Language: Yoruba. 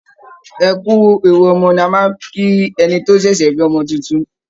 Ẹ kú ewu ọmọ ni a máa ń kí ẹni tó bá ṣẹ̀ṣẹ̀ bí ọmọ tuntun